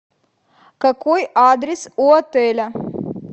какой адрес у отеля